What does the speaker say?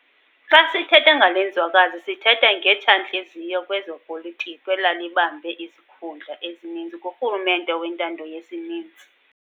Xa sithetha ngale nzwakazi sithetha ngetsha-ntliziyo kwezopolitiko elalibambe izikhundla ezininzi kurhulumente wentando yesininzi.